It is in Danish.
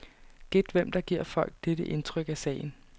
Gæt hvem der giver folk dette indtryk af sagen.